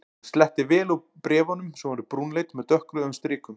Hann sletti vel úr bréf- unum sem voru brúnleit með dökkrauðum strikum.